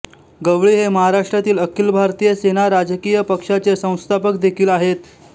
गवळी हे महाराष्ट्रातील अखिल भारतीय सेना राजकीय पक्षाचे संस्थापक देखील आहेत